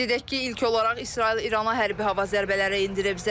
Qeyd edək ki, ilk olaraq İsrail İrana hərbi hava zərbələri endirib.